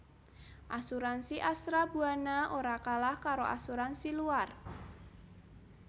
Asuransi Astra Buana ora kalah karo asuransi luar